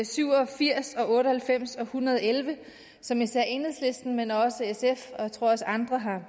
syv og firs og otte og halvfems og en hundrede og elleve som især enhedslisten men også sf og jeg tror også andre